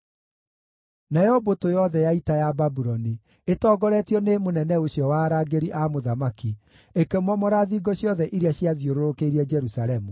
Nayo mbũtũ yothe ya ita ya Babuloni, ĩtongoretio nĩ mũnene ũcio wa arangĩri a mũthamaki, ĩkĩmomora thingo ciothe iria ciathiũrũrũkĩirie Jerusalemu.